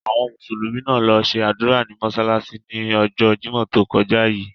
Àwọn Mùsùlùmí náà lo se ádùra ní mósálásí ni ọjọ́ Jimọ to kọja yii.